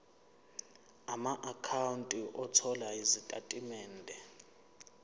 amaakhawunti othola izitatimende